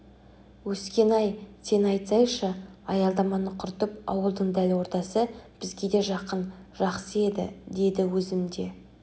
өскен-ай сені айтсайшы аялдаманы құртып ауылдың дәл ортасы бізге де жақын жақсы еді деді өзім де